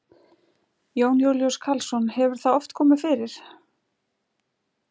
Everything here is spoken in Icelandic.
Jón Júlíus Karlsson: Hefur það oft komið fyrir?